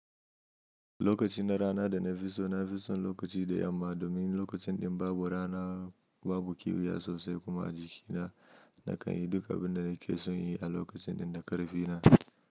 Lokaci na rana da na fiso, na fi son lokaci da yamma domin lokacin ɗin babu rana, babu kiwa ya sasai kuma a jiki na, na kan yi duka abin da nake son yi a lokacin ɗin da ƙarfi na.